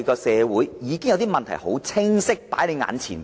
社會的問題已經清楚擺在眼前。